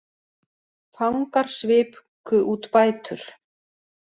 Fangar sviku út bætur